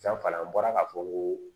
Danfara an bɔra ka fɔ ko